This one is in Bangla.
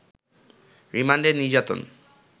রিমান্ডে নির্যাতন